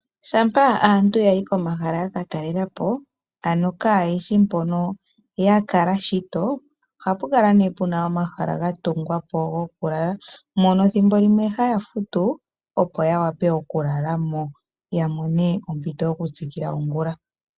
Shampa aantu yayi komahala yaka talela po aano kaageshi mpono ya kala shito ohapu kala nee puna omahala ga tungwa po go ku lala mono ethimbo limwe haya futu, opo ya wape oku lala mo ya mone omo Ito yoku tsikila ongula .